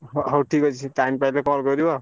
ହ ହଉ ଠିକ୍ ଅଛି time ପାଇଲେ call କରିବ।